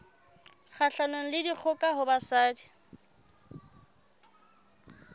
kgahlanong le dikgoka ho basadi